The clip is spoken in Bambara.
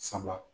Saba